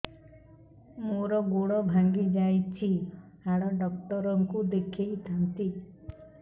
ମୋର ଗୋଡ ଭାଙ୍ଗି ଯାଇଛି ହାଡ ଡକ୍ଟର ଙ୍କୁ ଦେଖେଇ ଥାନ୍ତି